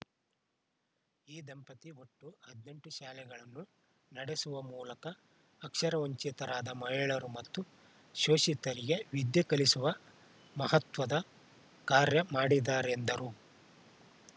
ಈ ದಂಪತಿ ಒಟ್ಟು ಹದಿನೆಂಟು ಶಾಲೆಗಳನ್ನು ನಡೆಸುವ ಮೂಲಕ ಅಕ್ಷರವಂಚಿತರಾದ ಮಹಿಳೆಯರು ಮತ್ತು ಶೋಷಿತರಿಗೆ ವಿದ್ಯೆ ಕಲಿಸುವ ಮಹತ್ವದ ಕಾರ‍್ಯ ಮಾಡಿದ್ದಾರೆಂದರು